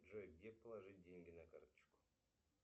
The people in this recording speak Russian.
джой где положить деньги на карточку